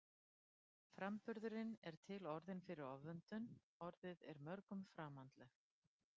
Framburðurinn er til orðinn fyrir ofvöndun, orðið er mörgum framandlegt.